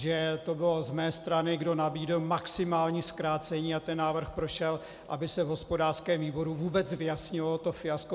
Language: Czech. Že to bylo z mé strany, kdo nabídl maximální zkrácení, a ten návrh prošel, aby se v hospodářském výboru vůbec vyjasnilo to fiasko.